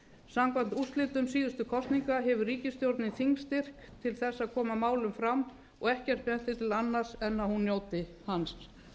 samkvæmt úrslitum síðustu kosninga hefur ríkisstjórnin þingstyrk til þess að koma málum fram og ekkert bendir til annars en að hún njóti hans